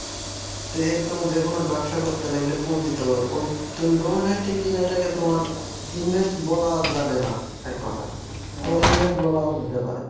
তো এটা তুমি যেকোনো ব্যবসা করতে লাগলে পুঁজি তো ওই তুমি domain hosting কিন্তু এটাকে তোমার invest বলা যাবে না এক কথায় আবার invest বলাও যেতে পারে